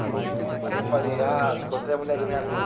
No, aí eu falei, ah, encontrei a mulher da minha vida.